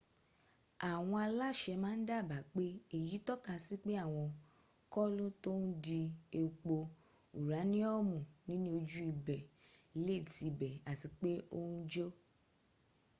awon alase ma n daba pe eyi toka si pe awon kolo to n di epo uraniumu ni ni oju ibe le ti be ati pe o n jo